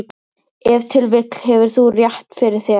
Ef til vill hefur þú rétt fyrir þér.